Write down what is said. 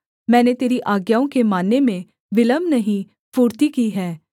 मैंने तेरी आज्ञाओं के मानने में विलम्ब नहीं फुर्ती की है